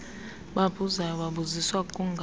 babuzayo babuziswa kukungazi